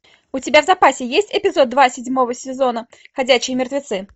у тебя в запасе есть эпизод два седьмого сезона ходячие мертвецы